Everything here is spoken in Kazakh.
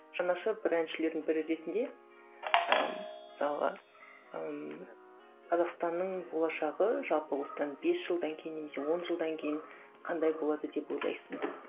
жанашыр бір әншілердің бірі ретінде ыыы мысалға ыыы қазақстанның болашағы жалпы осыдан бес жылдан кейін немесе он жылдан кейін қандай болады деп ойлайсың